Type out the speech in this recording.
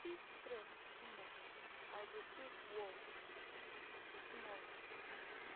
if stress too much i go take walk small